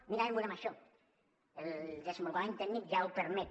únicament volem això el desenvolupament tècnic ja ho permet